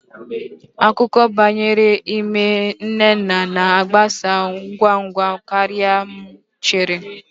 Akụkọ banyere ime nnenna na-agbasa ngwa ngwa karịa ka m chere